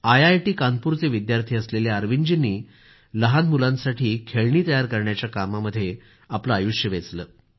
I I T कानपूरचे विद्यार्थी असलेल्या अरविंदजींनी लहान मुलांसाठी खेळणी तयार करण्याच्या कामामध्ये त्यांनी आपलं आयुष्य वेचलं आहे